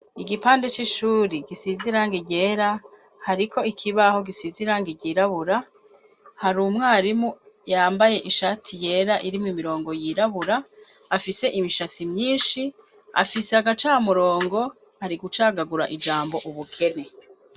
Igipande c'ishuri gisiz'irangi ryera hariko ikibaho gisiz'irangi ryirabura har'umwarimu yambaye ishati yera irimw' imirongo yirabura, afise imishatsi myinshi, afise agacamurongo ari gucagagura ijambo ubukene